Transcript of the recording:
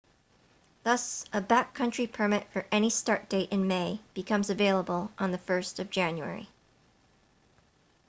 thus a backcountry permit for any start date in may becomes available on 1 jan